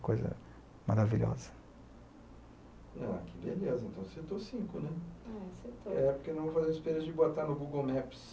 coisa maravilhosa. Ah, que beleza, então citou cinco né. É citou. É por que nós vamos de botar no google maps.